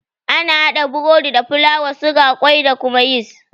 Ana haɗa burodi da fulawa, suga, kwai da kuma yis.